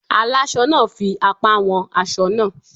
Alásọ náà fi apá wọn aṣọ náà.